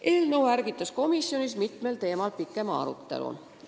Eelnõu ärgitas komisjonis mitmel teemal pikema arutelu.